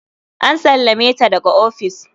An sallame ta daga ofis.